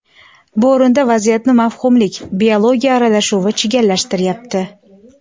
Bu o‘rinda vaziyatni mavhumlik – biologiya aralashuvi chigallashtiryapti.